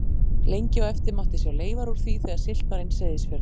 Lengi á eftir mátti sjá leifar úr því þegar siglt var inn Seyðisfjörð.